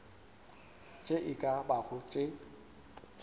tše e ka bago tše